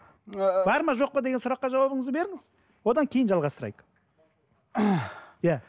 ыыы бар ма жоқ па деген сұраққа жауабыңызды беріңіз одан кейін жалғастырайық иә